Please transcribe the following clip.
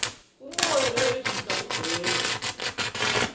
umoya nerejista kugcwele